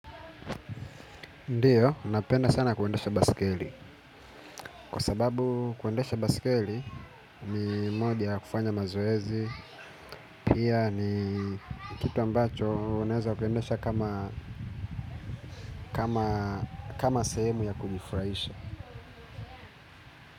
Ndiyo, napenda sana kuendesha baskeli. Kwa sababu kuendesha baskeli, mi mode ya kufanya mazoezi. Pia ni kitu ambacho uneza kuendesha kama sehemu ya kujifraisha.